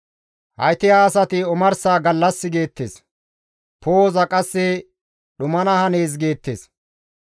Hayti ha asati omarsa gallas geettes; poo7oza qasse dhumana hanees geettes.